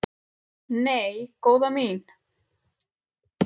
"""Nei, góða mín."""